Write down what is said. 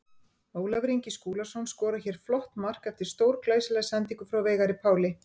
Ólafur Ingi Skúlason skorar hér flott mark eftir stórglæsilega sendingu frá Veigari Páli.